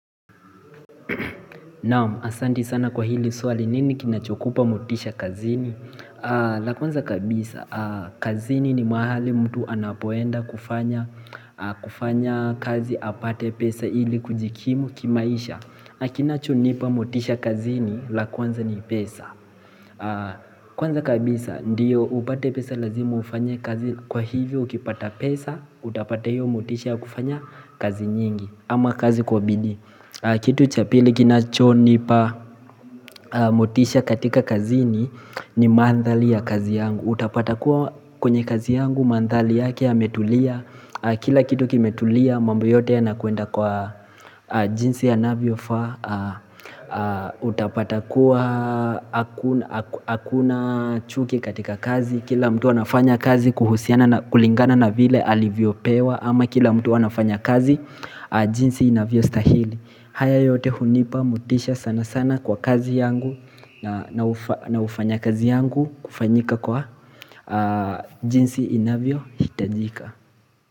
Naam, asanti sana kwa hili swali nini kinachokupa motisha kazini la kwanza kabisa, kazini ni mahali mtu anapoenda kufanya kufanya kazi apate pesa ili kujikimu kimaisha kinachonipa motisha kazini la kwanza ni pesa Kwanza kabisa, ndiyo upate pesa lazima ufanye kazi kwa hivyo ukipata pesa Utapata hiyo motisha ya kufanya kazi nyingi ama kazi kwa bidii Kitu cha pili kinachonipa motisha katika kazini ni mandhali ya kazi yangu Utapata kuwa kwenye kazi yangu mandhali yake yametulia Kila kitu kimetulia mambo yote yanakwenda kwa jinsi yanavyofa Utapata kuwa akuna hakuna chuki katika kazi Kila mtu anafanya kazi kuhusiana na kulingana na vile alivyopewa ama kila mtu anafanya kazi jinsi inavyostahili haya yote hunipa motisha sana sana kwa kazi yangu na ufanyakazi yangu kufanyika kwa jinsi inavyohitajika.